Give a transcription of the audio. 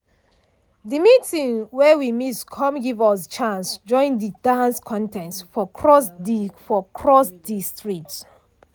de meeting wey we miss come give us chance join de dance contest for across de for across de street.